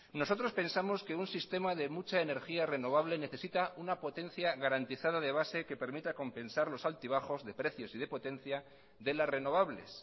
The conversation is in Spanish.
nosotros pensamos que un sistema de mucha energía renovable necesita una potencia garantizada de base que permita compensar los altibajos de precios y de potencia de las renovables